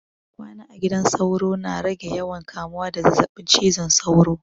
Kwana a gidan sauro na rage yawan kamuwa da zazzabin cizon sauro.